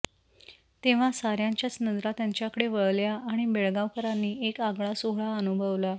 तेव्हा साऱयांच्याच नजरा त्यांच्याकडे वळल्या आणि बेळगावकरांनी एक आगळा सोहळा अनुभवला